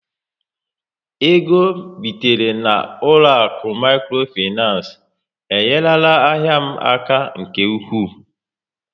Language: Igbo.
Égo bitere na ụlọakụ micro financé, enyerela ahịa m aka nke ụkwụ